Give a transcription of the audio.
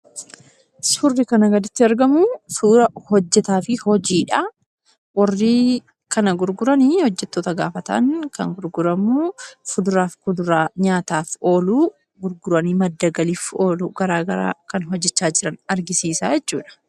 Suurri kana gaditti argamu, suuraa hojjetaa fi hojiidha. Warri kana gurguran hojjettoota gaafa ta'an, kan gurguramu fuduraa fi muduraa nyaataaf oolu gurgurani madda galiif oolu garaagara hojjechaa jiran argisiisa jechudha.